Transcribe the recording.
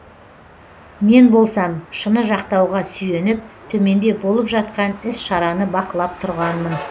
мен болсам шыны жақтауға сүйеніп төменде болып жатқан іс шараны бақылап тұрғанмын